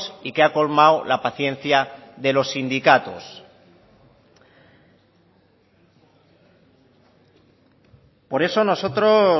y que ha colmado la paciencia de los sindicatos por eso